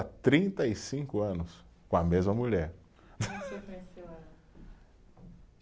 Há trinta e cinco anos com a mesma mulher. Onde o senhor conheceu ela?